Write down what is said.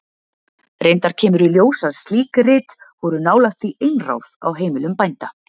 Reyndar kemur í ljós að slík rit voru nálægt því einráð á heimilum bænda.